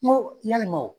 Ko yalima o